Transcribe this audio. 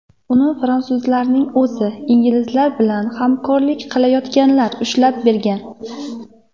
Uni fransuzlarning o‘zi, inglizlar bilan hamkorlik qilayotganlar ushlab bergan.